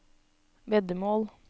veddemål